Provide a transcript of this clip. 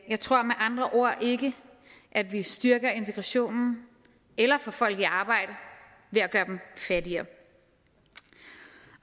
jeg tror med andre ord ikke at vi styrker integrationen eller får folk i arbejde ved at gøre dem fattigere